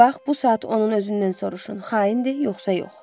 Bax, bu saat onun özündən soruşun, xaindir yoxsa yox.